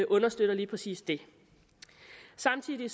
understøtter lige præcis det samtidig